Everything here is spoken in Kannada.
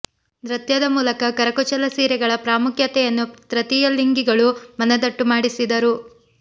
ನೃತ್ಯದ ಮೂಲಕ ಕರಕುಶಲ ಸೀರೆಗಳ ಪ್ರಾಮುಖ್ಯತೆಯನ್ನು ತೃತೀಯ ಲಿಂಗಿಗಳು ಮನದಟ್ಟು ಮಾಡಿಸಿದರು